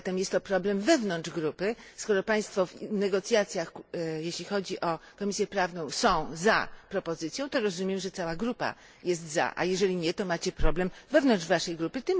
Zatem jest to problem wewnątrz grupy, jeśli Państwo w negocjacjach, jeśli chodzi o Komisję Prawną, są za propozycją, to rozumiem, że cała grupa jest za, a jeżeli nie, to macie problem wewnątrz Waszej grupy.